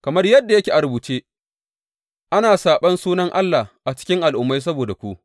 Kamar yadda yake a rubuce, Ana saɓon sunan Allah a cikin Al’ummai saboda ku.